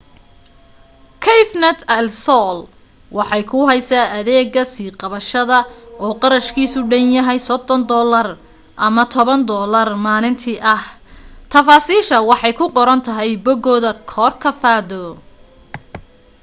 cafenet el sol waxay kuu haysaa adeega sii qabsashada oo qarashkiisu dhan yahay us$30 or $10 oo maalintii ah; tafaasiishu waxay ku qoran tahay bogooda corcovado